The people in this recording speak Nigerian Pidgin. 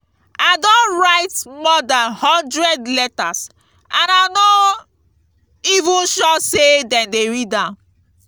i don write more dan hundred letters and i no even sure say dem dey read am